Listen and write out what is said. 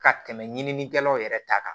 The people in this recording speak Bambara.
Ka tɛmɛ ɲininikɛlaw yɛrɛ ta kan